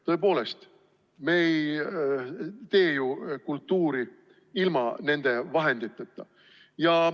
Tõepoolest, me ei tee ju kultuuri ilma nende vahenditeta.